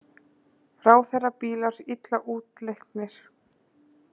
Ráðherrabílar illa útleiknir